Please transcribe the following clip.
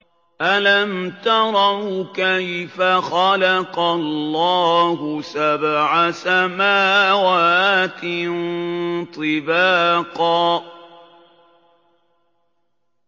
أَلَمْ تَرَوْا كَيْفَ خَلَقَ اللَّهُ سَبْعَ سَمَاوَاتٍ طِبَاقًا